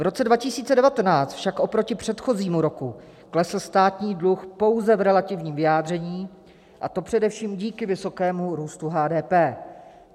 V roce 2019 však oproti předchozímu roku klesl státní dluh pouze v relativním vyjádření, a to především díky vysokému růstu HDP.